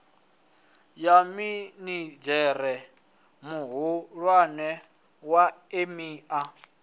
ya minidzhere muhulwane wa emia